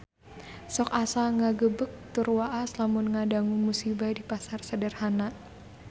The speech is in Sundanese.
Sok asa ngagebeg tur waas lamun ngadangu musibah di Pasar Sederhana